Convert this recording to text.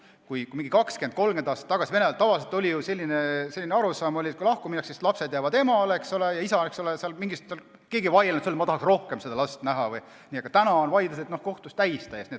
Kui 20–30 aastat tagasi, Vene ajal, oli arusaam, et kui lahku minnakse, siis lapsed jäävad emale, ja keegi ei vaielnud selle üle, et tahaks rohkem last näha, siis täna on kohtud vaidlusi täis.